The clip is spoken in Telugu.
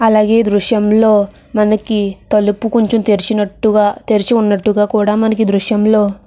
అలాగే దృశ్యంలో మనకి తలుపు కొంచెం తెరిచినట్టుగా తెరిచి ఉన్నట్టుగా కూడా మనకి దృశ్యంలో --